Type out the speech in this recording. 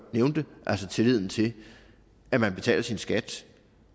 nævnte altså tilliden til at man betaler sin skat